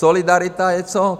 Solidarita je co?